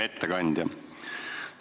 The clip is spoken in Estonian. Hea ettekandja!